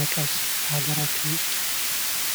መቀስ በሀገራችን ውስጥ..